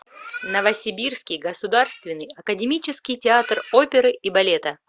новосибирский государственный академический театр оперы и балета